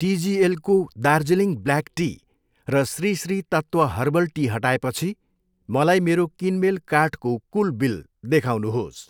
टिजिएलको Darjeeling black tea र Shri Shri Tattva herbal tea हटाएपछि मलाई मेरो किनमेल कार्टको कुल बिल देखाउनुहोस्।